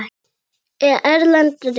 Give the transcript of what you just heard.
Erlend rit